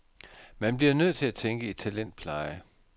Man bliver nødt til at tænke i talentpleje.